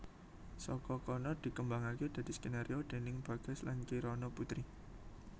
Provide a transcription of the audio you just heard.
Saka kono dikembangake dadi skenario déning Bagas lan Kirana Putri